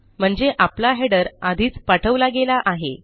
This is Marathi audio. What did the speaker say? म्हणजे आपला हेडर आधीच पाठवला गेला आहे